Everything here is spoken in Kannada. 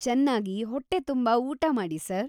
ಚೆನ್ನಾಗಿ‌ ಹೊಟ್ಟೆ ತುಂಬ ಊಟ ಮಾಡಿ ಸರ್.